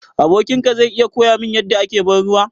Abokin ka zai iya koya min yadda ake ban ruwa?